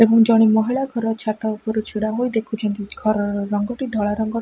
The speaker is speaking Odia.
ଏବଂ ଜଣେ ମହିଳା ଘରର ଛାତ ଉପରୁ ଛିଡ଼ା ହୋଇ ଦେଖୁଛନ୍ତି। ଘରର ରଙ୍ଗଟି ଧଳା ରଙ୍ଗର--